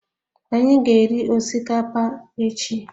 Anyị ga-eri osikapa echi